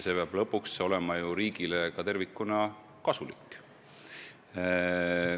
See peab lõpuks olema ju riigile ka tervikuna kasulik.